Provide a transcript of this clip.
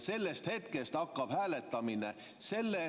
Sellest hetkest hakkab hääletamine.